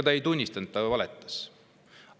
Ta ei tunnistanud, ta ju valetas.